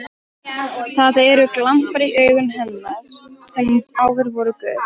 Það eru glampar í augum hennar sem áður voru gul.